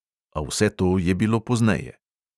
A vse to je bilo pozneje.